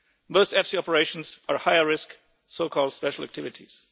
DNA! Most EFSI operations are higher risk, so called special activities.